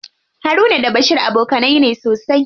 Haruna da Bashir abokanai ne sosai.